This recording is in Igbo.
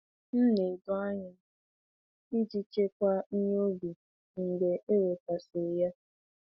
M na-edo ọnyà iji chekwaa ihe ubi mgbe e wetasịrị ya.